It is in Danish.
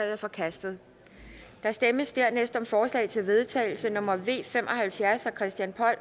er forkastet der stemmes derefter om forslag til vedtagelse nummer v fem og halvfjerds af christian